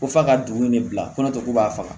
Ko f'a ka dugu in de bila kɔnɔ tɛ k'u b'a faga